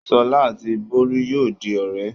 Ṣọlá àti Olú yóò di ọ̀rẹ́.